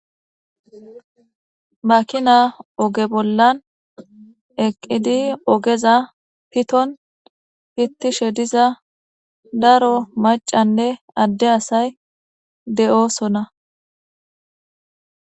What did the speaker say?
makina oge bollan eqqidi ogeza piton pittishe diza daro macanne adde asay de7oosona